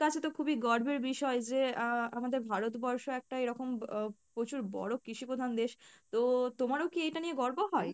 কাছে তো খুবই গর্বের বিষয় যে আহ আমাদের ভারতবর্ষ একটা এরকম আহ প্রচুর বড় কৃষি প্রধান দেশ তো তোমারও কী এইটা নিয়ে গর্ব হয়?